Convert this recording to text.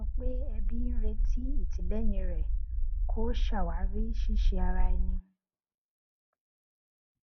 wọn sọ pé ẹbí ń retí ìtìlẹyìn rẹ kó ṣàwárí ṣíṣe ara ẹni